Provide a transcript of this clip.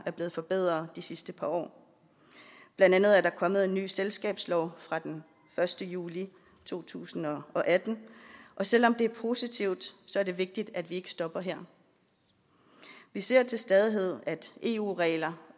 er blevet forbedret i de sidste par år blandt andet er der kommet en ny selskabslov fra den første juli to tusind og atten og selv om det er positivt er det vigtigt at vi ikke stopper her vi ser til stadighed at opdatering af eu regler